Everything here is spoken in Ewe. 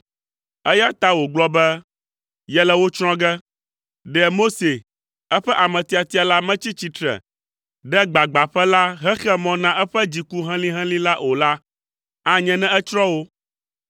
Eya ta wògblɔ be, yele wo tsrɔ̃ ge. Ɖe Mose, eƒe ame tiatia la metsi tsitre ɖe gbagbãƒe la hexe mɔ na eƒe dziku helĩhelĩ la o la, anye ne etsrɔ̃ wo.